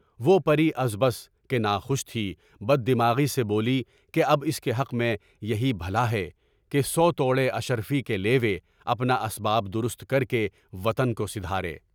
وہ پری ازبز کہ ناخوش تھی، بددماغی سے بولی کہ اب اس کے حق میں یہی بھلا ہے کہ سوگ توڑے، اشر فی کے لیے، اپنا اسباب درست کر کے وطن کو سدھارے۔